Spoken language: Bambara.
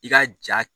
I ka jaa